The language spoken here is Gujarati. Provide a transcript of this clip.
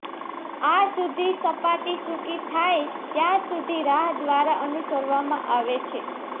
આ સુધી સપાટી સૂકી થાય ત્યાં સુધી રાહ દ્વારા અનુસરવામાં આવે છે